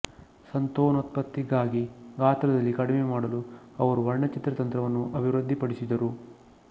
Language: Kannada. ಸಂತಾನೋತ್ಪತ್ತಿಗಾಗಿ ಗಾತ್ರದಲ್ಲಿ ಕಡಿಮೆ ಮಾಡಲು ಅವರು ವರ್ಣಚಿತ್ರ ತಂತ್ರವನ್ನು ಅಭಿವೃದ್ಧಿಪಡಿಸಿದರು